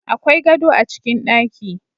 Akwai gado a cikin ɗaki